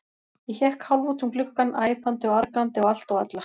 Ég hékk hálf út um gluggann, æpandi og argandi á allt og alla.